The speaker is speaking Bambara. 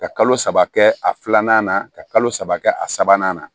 Ka kalo saba kɛ a filanan na ka kalo saba kɛ a sabanan na